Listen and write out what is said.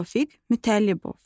Tofiq Mütəllibov.